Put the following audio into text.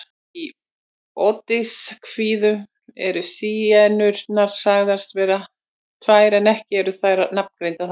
Í Ódysseifskviðu eru Sírenurnar sagðar vera tvær en ekki eru þær nafngreindar þar.